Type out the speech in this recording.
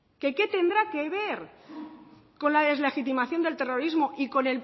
que qué tendrá que ver con la deslegitimación del terrorismo y con